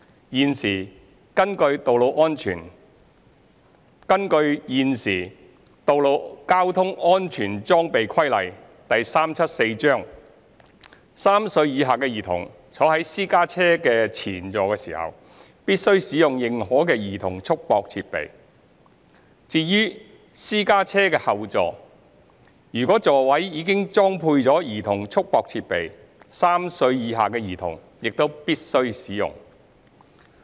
現時根據《道路交通規例》，3 歲以下的兒童坐在私家車前座時，必須使用認可的兒童束縛設備；至於私家車後座，如果座位已裝配兒童束縛設備 ，3 歲以下的兒童也必須使用。